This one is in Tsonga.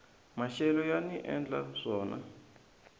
maxelo yani endla swona